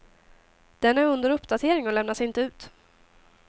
Den är under uppdatering och lämnas inte ut.